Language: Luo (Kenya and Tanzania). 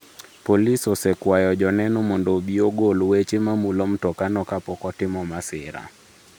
Polis osekwayo joneno mondo obi mondo ogol weche ma mulo mtokano kapok otimo masira.